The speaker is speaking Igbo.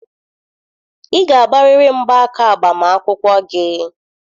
Ị ga-agbarịrị mgba aka agbamakwụkwọ gị!